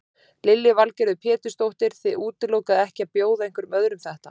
Lillý Valgerður Pétursdóttir: Þið útilokið ekki að bjóða einhverjum öðrum þetta?